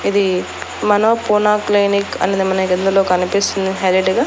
ఇది మన పూనా క్లినిక్ అనేది మనకు ఇందులో కనిపిస్తుంది హైలైట్ గా.